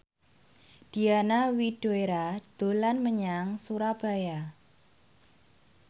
Diana Widoera dolan menyang Surabaya